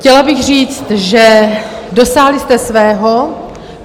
Chtěla bych říct, že... dosáhli jste svého.